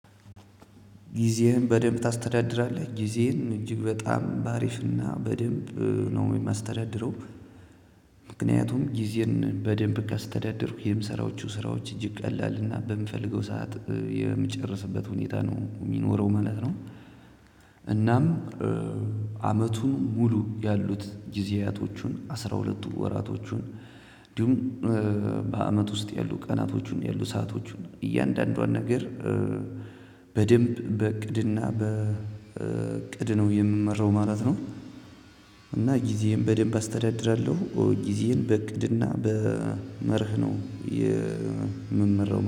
ጊዜህን በደንብ ታስተዳድራለህ ጊዜህን እጅግ በጣም በአሪፍና በደንብ ነው የማስተዳድረው ምክንያቱም ጊዜን በደንብ ካስተዳደርኩ የምሰራዎቹ ስራዎች እጅግ ቀላልና በምፈልገው ሰዓት የምጨርስበት ሁኔታ ነው የሚኖረው ማለት ነው። እናም አመቱን ሙሉ ያሉት ጊዜያቶቹን አስራ ሁለቱ ወራቶቹን እንዲሁም በአመት ውስጥ ያሉ ቀናቶቹን ያሉ ሰአቶቹን እያንዳንዷን ነገር በደንብ በእቅድና በእቅድ ነው የምመራው ማለት ነው። እና ጊዜም በደንብ አስተዳድራለሁ ጊዜን በእቅድና በመርህ ነው የምመራው